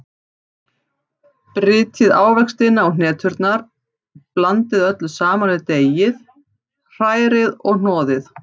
Brytjið ávextina og hneturnar, blandið öllu saman við deigið, hrærið og hnoðið.